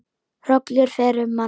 Hrollur fer um hana.